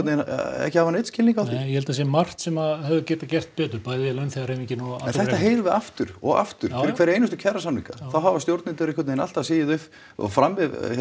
ekki hafa neinn skilning á því ég held það sé margt sem hefði getað gert betur bæði launþegahreyfingin þetta heyrum við aftur og aftur fyrir hverja einustu kjarasamninga þá hafa stjórnendur alltaf sigið fram